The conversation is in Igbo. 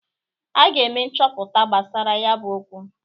A ga-eme nchọpụta gbasara ya bụ okwu.